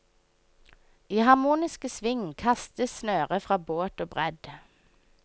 I harmoniske sving kastes snøret fra båt og bredd.